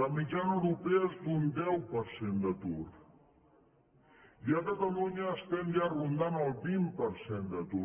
la mitjana europea és d’un deu per cent d’atur i a catalunya estem ja rondant el vint per cent d’atur